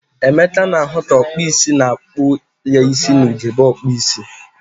Emeka na-ahu ka okpu isi na-akpu ya isi na ugegbe okpu isi.